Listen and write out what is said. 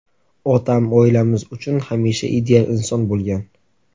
Otam – oilamiz uchun hamisha ideal inson bo‘lgan.